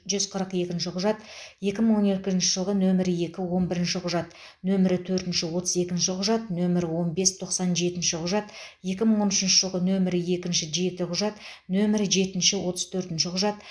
жүз қырық екінші құжат екі мың он екінші жылғы нөмірі екі он бірінші құжат нөмір төртінші отыз екінші құжат нөмірі он бес тоқсан жетінші құжат екі мың он үшінші жылғы нөмірі екінші жеті құжат нөмірі жетінші отыз төртінші құжат